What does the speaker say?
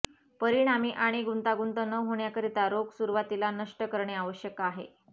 परिणामी आणि गुंतागुंत न होण्याकरिता रोग सुरुवातीला नष्ट करणे आवश्यक आहे